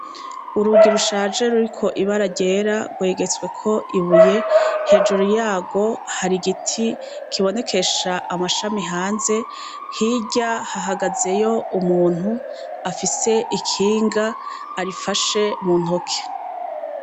Urugi rushaje ruriko ibara ryera rwegetsweko ibuye. Hejuru yarwo hari igiti kibonekesha amashami hanze. Hirya hahagazeyo umuntu afise ikinga, arifashe mu ntoke.